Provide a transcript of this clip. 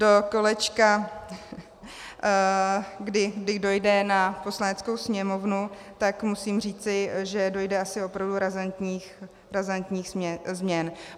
Do kolečka, kdy dojde na Poslaneckou sněmovnu, tak musím říci, že dojde asi opravdu razantních změn.